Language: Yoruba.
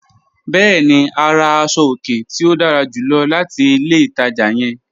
Bẹ̀ẹ̀ni, a rà àṣọ-ọ̀kẹ̀ tí o dára júlọ̀ láti ilẹ̀ ìtaja yẹ̀n.